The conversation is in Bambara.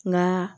Nka